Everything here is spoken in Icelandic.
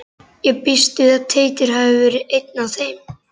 Ég býst við að Teitur hafi verið einn af þeim.